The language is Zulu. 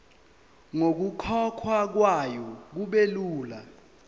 nokukhokhwa kwayo kubelula